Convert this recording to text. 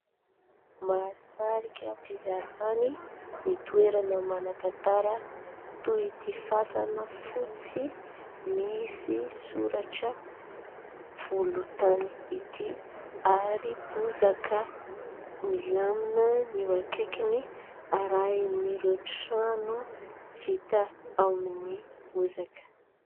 Mahasarika mpizahatany ny toerana manan-tantara toy ity fasana fotsy misy soratra volontany ity, ary bozaka milamina ny eo akaikiny arahin'ireo trano vita amin'ny bozaka.